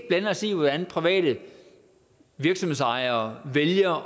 blande os i hvordan private virksomhedsejere vælger